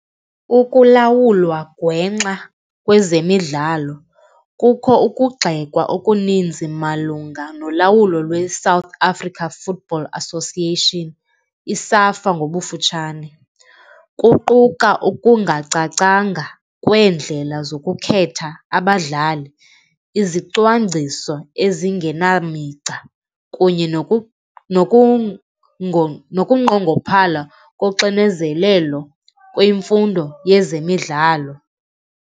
Ukulawulwa gwenxa kwezemidlalo kukho ukugxekwa okuninzi malunga nolawulo lweSouth Africa Football Association, iSAFA ngobufutshane. Kuquka okungacacanga kweendlela zokukhetha abadlali, izicwangciso ezingenamigca kunye nokunqongophala koxinezelelo kwimfundo yezemidlalo.